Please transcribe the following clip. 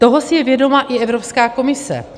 Toho si je vědoma i Evropská komise.